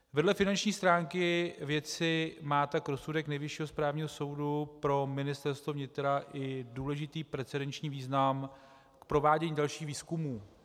Vedle finanční stránky věci má tak rozsudek Nejvyššího správního soudu pro Ministerstvo vnitra i důležitý precedenční význam k provádění dalších výzkumů.